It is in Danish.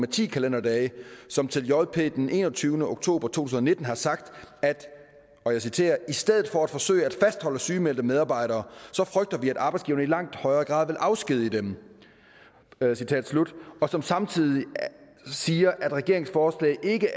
ti kalenderdage som til jp den enogtyvende oktober to tusind og nitten har sagt at i stedet for at forsøge at fastholde sygemeldte medarbejdere så frygter vi at arbejdsgiverne i langt højere grad vil afskedige dem og som samtidig siger at regeringens forslag ikke